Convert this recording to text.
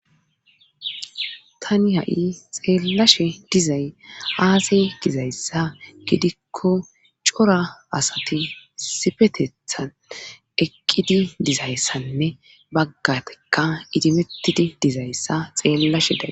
tani ha7i xeellashe dizay aaze gizayssa gidikko cora asati isifetethan eqqidi dizayssanne baggatakka idimetidi dizayssa xeellashe days